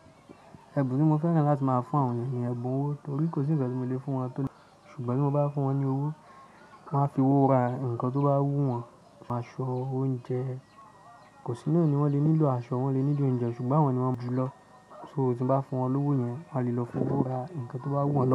Ẹ̀bùn tí mo fẹ́ràn láti máa fún àwọn ènìyàn ni ẹ̀bùn owó, torí kò sí ǹkan tí mo lè fún wọn tó le ṣùgbọ́n bí mo bá fún wọn ní owó, kan fi owó ra ǹkan tó bá wù wọ́n, aṣọ, oúnjẹ. Kò sí náà ni wọ́n lè nílò aṣọ, wọ́n lè nílò oúnjẹ ṣùgbọ́n àwọn ni wọ́n mọ ju lọ. So tí mo bá fún wọn lówó yẹn, wọ́n lè lọ fowó ra ǹkan tó bá wù wọ́n.